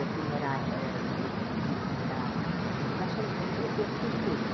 Eu fui morar eh... ele quis morar na so... eu eu fiz tudo.